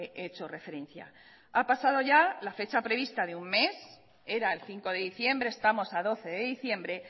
he hecho referencia ha pasado ya la fecha prevista de un mes era el cinco de diciembre estamos a doce de diciembre